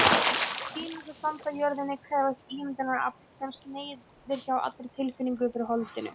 Hinar sem standa á jörðinni krefjast ímyndunarafls, sem sneiðir hjá allri tilfinningu fyrir holdinu.